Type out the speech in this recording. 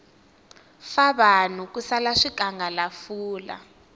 fa vanhu ku sala swikangalafula